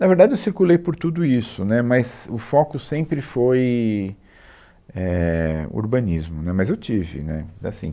Na verdade, eu circulei por tudo isso, né, mas o foco sempre foi, é, urbanismo, né, mas eu tive, né, mas assim.